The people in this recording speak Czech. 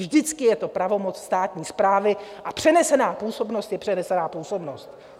Vždycky je to pravomoc státní správy a přenesená působnost je přenesená působnost.